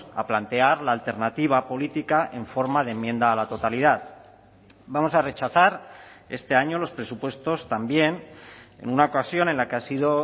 a plantear la alternativa política en forma de enmienda a la totalidad vamos a rechazar este año los presupuestos también en una ocasión en la que ha sido